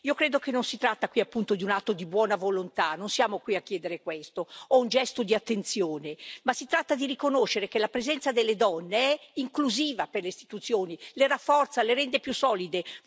Io credo che non si tratti di un atto di buona volontà, non siamo qui a chiedere questo o un gesto di attenzione si tratta di riconoscere che la presenza delle donne è inclusiva per le istituzioni, le rafforza, le rende più solide.